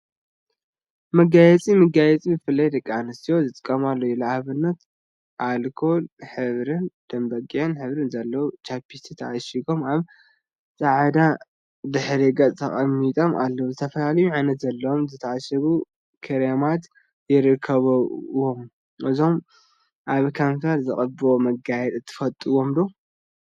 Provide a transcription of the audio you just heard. መጋየፂ መጋየፂ ብፍላይ ከዓ ደቂ አንስትዮ ዝጥቀማሉ እዩ፡፡ ንአብነት አልኮል ሕብሪን ደምበጊዕ ሕብሪን ዘለዎም ቻፕስቲካት ተዓሺጎም አብ ፃዕዳ ድሕረ ገፅ ተቀሚጦም አለው፡፡ ዝተፈላለዩ ዓይነት ዘለዎም ዝተዓሸጉ ክሬማት ይርከቡዎም፡፡ እዞም አብ ከንፈር ዝቅብኡ መጋየፂታት ትፈትዎም ዶ?